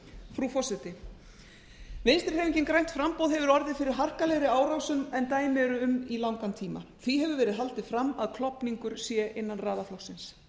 frú forseti vinstri hreyfingin grænt framboð hefur orðið fyrir harkalegri árásum en dæmi eru um í langan tíma því hefur verð haldið fram að klofningur sé innan raða flokksins